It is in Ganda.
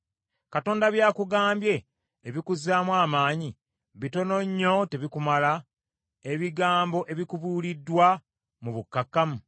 Katonda by’akugambye ebikuzzaamu amaanyi bitono nnyo tebikumala, ebigambo ebikubuuliddwa mu bukkakkamu?